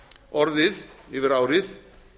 orðið yfir árið